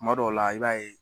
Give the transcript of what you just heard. Tuma dɔw la i b'a ye